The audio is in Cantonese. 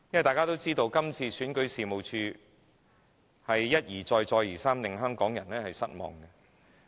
大家也知道，選舉事務處一再令香港人失望。